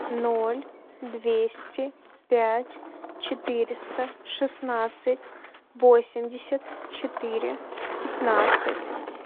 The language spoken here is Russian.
ноль двести пять четыреста шестнадцать восемьдесят четыре пятнадцать